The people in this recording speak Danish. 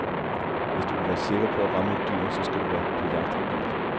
Hvis du vil være sikker på at ramme et dyr, så skal du være på jagt i bil.